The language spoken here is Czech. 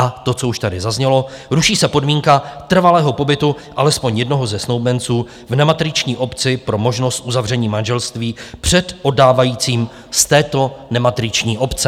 A to, co už tady zaznělo, ruší se podmínka trvalého pobytu alespoň jednoho ze snoubenců v nematriční obci pro možnost uzavření manželství před oddávajícím z této nematriční obce.